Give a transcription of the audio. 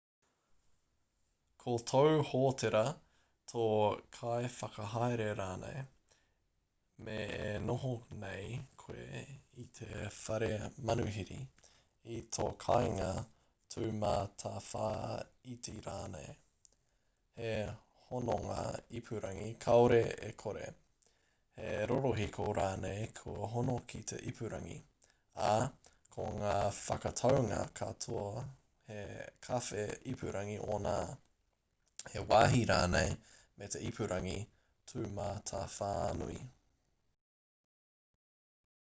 ko tōu hōtera tō kaiwhakahaere rānei mē e noho nei koe i te whare manuhiri i tō kāinga tūmatawhāiti rānei he hononga ipurangi kāore e kore he rorohiko rānei kua hono ki te ipurangi ā ko ngā whakataunga katoa he kawhe ipurangi ōna he wāhi rānei me te ipurangi tūmatawhānui